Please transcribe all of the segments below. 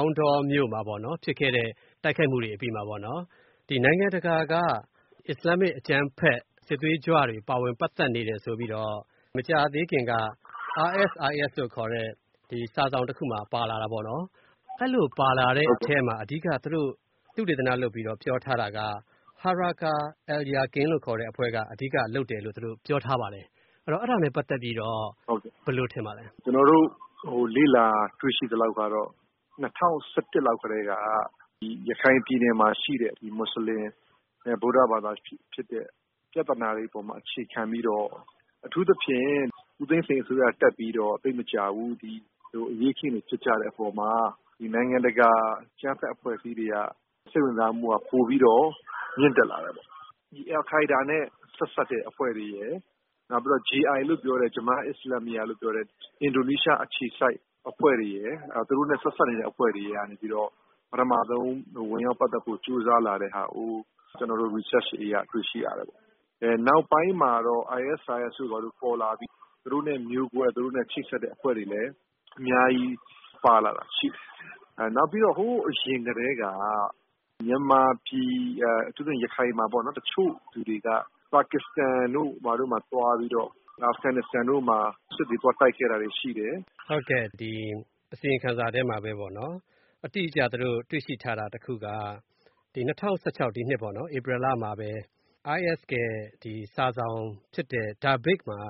ာင်တောမြို့မှာပေါ့ ဖြစ်ခဲ့တဲ့တိုက်ခိုက်မှုတွေအပြီးမှာပေါ့နော်။ နိုင်ငံတကာက အစ္စလာမ်မစ်အကြမ်းဖက်စစ်သွေးကြွတွေ ပါဝင်ပတ်သက်နေတယ် ဆိုပြီးတော့ မကြာသေးခင်က RSIS လို့ခေါ်တဲ့ စာစောင်တခုမှာ ပါလာတာပေါ့နော်။ အဲ့သလိုပါလာတဲ့အထဲမှာ အဓိက သူတို့သုတေသနလုပ်ပြီးတော့ ပြောထားတာက Harakah al-Yaqin ဆိုတဲ့အဖွဲ့က အဓိက လုပ်တယ်လို့ သူတို့ပြောထားပါတယ်။ အဲ့တော့ အဲ့တာနဲ့ပတ်သက်ပြီးတော့ ဘယ်လိုထင်ပါသလဲ။ ဒေါက်တာမင်းဇော်ဦး။ ။ ကျျနော်တို့ လေ့လာတွေ့ရှိသလောက်ကတော့ ၂၀၁၁ လောက်ကတည်းက ရခိုင်ပြည်နယ်မှာရှိတဲ့ မူဆလင်နဲ့ ဗုဒ္ဓဘာသာပြသနာတွေ အပေါ်မှာ အခြေခံပြီးတော့ အထူးသဖြင့် ဦးသိန်းစိန်အစိုးရ တက်ပြီးတော့ သိပ်မကြာဘူး ဒီလိုအရေးအခင်းတွေ ဖြစ်ကြတဲ့ အပေါ်မှာ နိုင်ငံတကာ အကြမ်းဖက်အဖွဲ့အစည်းတွေက စိတ်ဝင်စားမှုက ပိုပြီးတော့မြင့်တက်လာတယ်ပေါ့။ ဒီ အယ်လ်ကိုင်းဒါးနဲ့ ဆက်စပ်တဲ့အဖွဲ့တွေရယ် နောက်ပြီးတော့ JI လို့ခေါ်တဲ့ Jemaah Islamiah လို့ခေါ်တဲ့ အင်ဒိုနီးရှားအခြေစိုက်အဖွဲ့တွေရယ် သူတို့နဲ့ဆက်စပ်နေတဲ့ အဖွဲ့တွေက ပထမဆုံး ဝင်ရောက်ပတ်သက်ဖို့ ကြိုးစားလာတဲ့ဟာကို ကျနော်တို့ Research တွေအရ တွေ့ရှိရတယ်။ နောက်ပိုင်းမှာတော့ ISIS တို့ ပေါ်လာပြီး သူတို့နဲ့မျိုးကွဲ သူတို့နဲ့ချိတ်ဆက်တဲ့အဖွဲ့တွေလည်း အများကြီးပါလာတာရှိတယ်။ နောက်ပြီးတော့ ဟိုးအရင်ကတည်းက မြန်မာပြည် အထူးသဖြင့် ရခိုင်မှာပေါ့ တချို့လူတွေက ပါကစ္စတန်တို့ ဘာတို့မှာ သွားပြီးတော့ အာဖဂန်နစ္စတန်တို့မှာ စစ်တွေ သွားတိုက်ခဲ့တာတွေရှိတယ်။ ကိုဝင်းမင်း။ ။ ဟုတ်ကဲ့။ ဒီအစီရင်ခံစာထဲမှာပေါ့နော် အတိအကျ သူတို့တွေ့ရှိ ထားတာ တခုက ၂၀၁၆ ဒီနှစ်ပေါ့နော် ဧပြီလမှာပဲ IS ရဲ့စာစောင်ဖြစ်တဲ့ Dabiq မှာ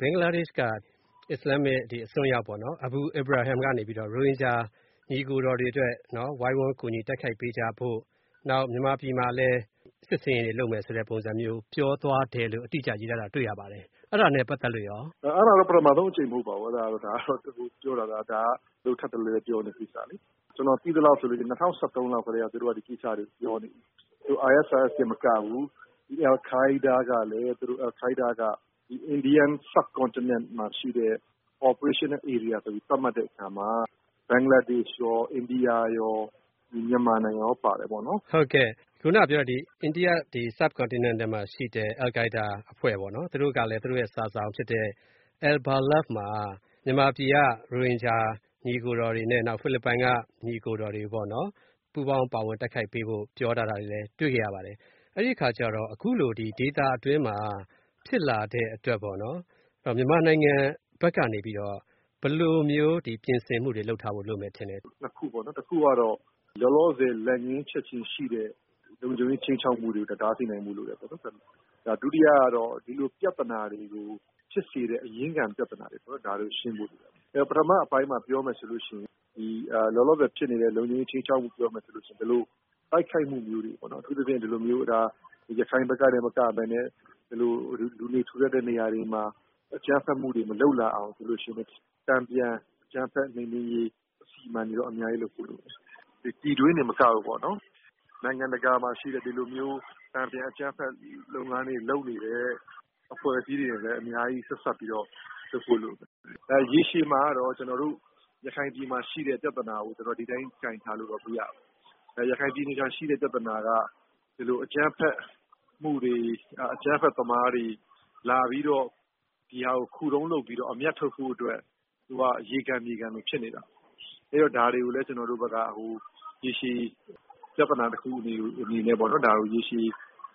ဘင်္ဂလားဒေ့ရှ်က အစ္စလာမ်အစွမ်းရောက်ပေါ့နော် Abu lbrahim ကနေ ရိုဟင်ဂျာညီအကိုတော်တွေအတွက် ဝိုင်းဝန်း တိုက်ခိုက်ပေးကြဖို့ နောက်မြန်မာပြည် မှာလည်း စစ်ဆင်ရေးတွေ လုပ်မယ်ဆိုတဲ့ပုံစံမျိုး ပြောသွားတယ်လို့ အတိအကျရေးထားတာ တွေ့ရပါတယ်။ အဲ့တာနဲ့ပတ်သက်လို့ရော။ ဒေါက်တာမင်းဇော်ဦး။ ။ အဲ့တာကတော့ ပထမဆုံး အကြိမ်တော့ မဟုတ်ပါဘူး။ ပြောတာက ဒါက သူတို့ထပ်တလဲလဲပြောနေတဲ့ကိစ္စလေ။ ကျနော်သိသလောက်ဆိုရင် ၂၀၁၃လောက်ကတည်းက သူတို့က ဒီကိစ္စတွေကိုပြောနေပြီ။ ISIS တင်မကဘူး။ အယ်လ်ကိုင်းဒါးကလည်း အိန္ဒိယ Indian subcontinent မှာ ရှိတဲ့ operational area လို့သတ်မှတ်တဲ့အခါမှာ ဘင်္ဂလားဒေ့ရှ်ရော အိန္ဒိယရော ဒီမြန်မာနိုင်ငံရော ပါတယ်ပေါ့နော်။ ကိုဝင်းမင်း။ ။ ဟုတ်ကဲ့။ ခုနကပြောတဲ့ Indian subcontinent မှာ ရှိတဲ့ အယ်လ်ကိုင်းဒါးအဖွဲ့ပေါ့နော်။ သူတို့ကလည်း သူတို့ရဲ့ စာစောင်ဖြစ်တဲ့ AL Balagh မှာ မြန်မာပြည်က ရိုဟင်ဂျာညီအကိုတော်တွေနဲ့ ဖိလစ်ပိုင်က ညီအကိုတော်တွေပေါ့နော် ပူးပေါင်းပါဝင်တိုက်ခိုက်ပေးဖို့ ပြောထား တာတွေလည်း တွေ့ခဲ့ရပါတယ်။ အဲ့ဒီ့အခါကျတော့ အခုလို ဒေသတွင်း မှာဖြစ်လာတဲ့အတွက် မြန်မာနိုင်ငံဘက်ကနေ ဘယ်လိုမျိုး ပြင်ဆင်မှုတွေ လုပ်ထားဖို့ လိုမယ်ထင်လဲ။ ဒေါက်တာမင်းဇော်ဦး။ ။ နှစ်ခုပေါ့နော်။ တခုကတော့ လောလောဆယ် လက်ငင်းချက်ချင်းရှိတဲ့ လုံခြုံရေးခြိမ်းခြောက်မှုတွေကို တားဆီးနိုင်ဖို့ လိုတယ်။ ဒုတိယကတော့ ဒီလိုပြသနာတွေကို ဖြစ်စေတဲ့ အရင်းခံပြသနာတွေပေါ့နော် ဒါတွေကိုရှင်းဖို့လိုတယ်။ ပထမအပိုင်းမှာ ပြောမယ်ဆိုရင် လောလောဆယ်ဖြစ်နေတဲ့ လုံခြုံရေးခြိမ်းခြောက်မှုကိုပြောမယ်ဆိုရင် ဒီလိုတိုက်ခိုက်မှုမျိုးတွေကို အထူးသဖြင့် ရခိုင်ဘက်ကတင်မကပဲနဲ့ လူနေထူထပ်တဲ့ နေရာတွေမှာ အကြမ်းဖက်မှုတွေ မလုပ်လာအောင် တန်ပြန်အကြမ်းဖက်မှုနှိမ်နှင်းရေးစီမံမှုတွေ အများကြီးလုပ်ဖို့ လိုမယ်။ ပြည်တွင်းတင်မကဘူးပေါ့နော် နိုင်ငံတကာမှာ ရှိတဲ့ ဒီလိုမျိုးတန်ပြန် အကြမ်းဖက် လုပ်နေတဲ့ အဖွဲ့အစည်းတွေနဲ့ အများကြီး ဆက်စပ်ပြီးတော့ လုပ်ဖို့လိုတယ်။ ရေရှည်မှာကတော့ ရခိုင်ပြည်မှာ ရှိတဲ့ပြသနာကို ဒီအတိုင်း ကိုင်ထားလို့တော့ မရဘူး။ ရခိုင်ပြည်နယ်မှာ ရှိတဲ့ ပြသနာက ဒီလိုအကြမ်းဖက်မှုတွေ အကြမ်းဖက်သမားတွေ လာပြီးတော့ ဒီဟာကို ခုတုံးလုပ်ပြီးတော့ အမြတ်ထုတ်ဖို့အတွက် သူက ရေခံမြေခံလိုဖြစ်နေတာ။ အဲ့တော့ ဒါတွေကို ကျနော်တို့ဘက်က ရေရှည်ပြသနာတခုအနေနဲ့ ရေရှည်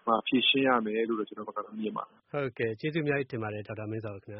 မှာ ဖြေရှင်းရမယ်လို့တော့ ကျနော်ကတော့ မြင်ပါတယ်။ ကိုဝင်းမင်း။ ။ ကျေးဇူးအများကြီးတင်ပါတယ်။ ဒေါက်တာမင်းဇော်ဦးခင်ဗျ။